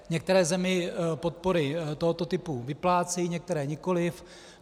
Některé země podpory tohoto typu vyplácejí, některé nikoli.